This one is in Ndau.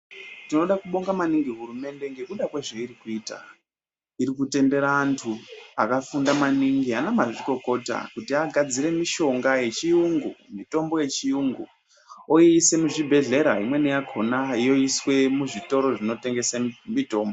Tinoda kubonga maningi hurumende ngekuda kwezveirikuita. Irikutendera antu akafunda maningi ana mazvikokota kuti agadzire mishonga yechiyungu, mitombo yechiyungu oiise muzvibhehlera, imweni yakhona yoiswe muzvitoro zvinotengese mitombo.